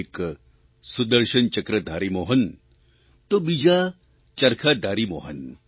એક સુદર્શનચક્રધારી મોહન તો બીજા ચરખાધારી મોહન